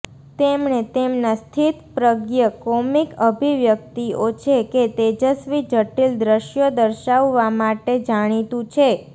તેમણે તેમના સ્થિતપ્રજ્ઞ કોમિક અભિવ્યક્તિઓ છે કે તેજસ્વી જટિલ દ્રશ્યો દર્શાવવામાં માટે જાણીતું છે